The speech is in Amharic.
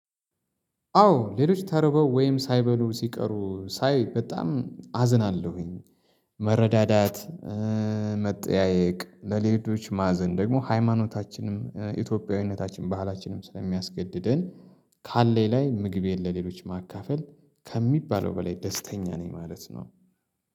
አዎ ሌሎች ተርበው ወይም ሳይበሉ ሲቀሩ ሳይ በጣም አዝናለሁኝ። መረዳዳት መጠያየቅ ለሌሎች ማዘን ደግሞ ሃይማኖታችንም ኢትዮጵያዊነታችን ባህላችንም ስለሚያስገድድን። ካለኝ ላይ ምግቤን ለሌሎች ማካፈል ከሚባለው በላይ ደስተኛ ነኝ ማለት ነው